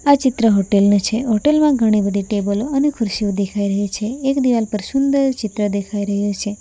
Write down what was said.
આ ચિત્ર હોટેલ નુ છે હોટલ માં ઘણી બધી ટેબલો અને ખુરશીઓ દેખાય રહી છે એક દિવાલ પર સુંદર ચિત્ર દેખાય રહ્યું છે.